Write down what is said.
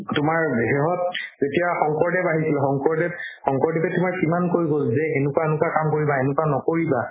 তোমাৰ সেহত এতিয়া শংকৰদেৱ আহিছিল শংকৰদেৱ শংকৰদেৱে তোমাৰ কিমান কৈ গ'ল যে এনেকুৱা এনেকুৱা কাম কৰিবা এনেকুৱা নকৰিবা